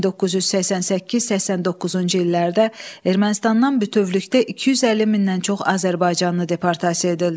1988-89-cu illərdə Ermənistandan bütövlükdə 250 mindən çox azərbaycanlı deportasiya edildi.